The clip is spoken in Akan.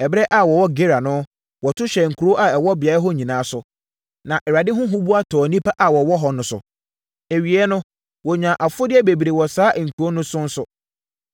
Ɛberɛ a wɔwɔ Gerar no, wɔto hyɛɛ nkuro a ɛwɔ beaeɛ hɔ nyinaa so, na Awurade ho huboa tɔɔ nnipa a wɔwɔ hɔ no so. Awieeɛ no, wɔnyaa afodeɛ bebree wɔ saa nkuro no so nso.